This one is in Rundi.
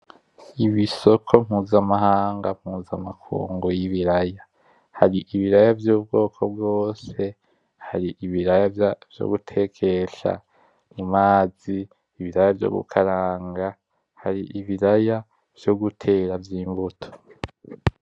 Ibisoko mpuzamahanga mpuzamakungu y''ibiraya hari ibiraya vy'ubwoko bwose hari ibiraya vyo gutekesha amazi, ibiraya vyo gukaranga hari ibiraya vyo gutera vy'imbuto.